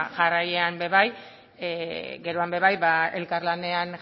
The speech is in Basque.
jarraian ere bai geroan ere bai elkarlanean